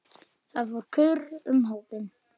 Það fór kurr um hópinn.